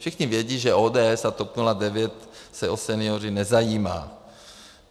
Všichni vědí, že ODS a TOP 09 se o seniory nezajímá.